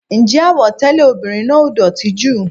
Ǹjẹ́ àwọ̀ tẹlẹ ọmọbìnrin náà ò dótì jù?